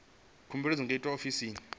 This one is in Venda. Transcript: khumbelo dzi nga itwa ofisini